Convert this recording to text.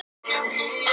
Þremur þernum sagt upp